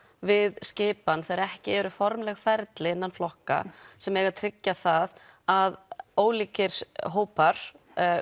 við skipan þegar ekki eru formleg ferli innan flokka sem eiga að tryggja það að ólíkir hópar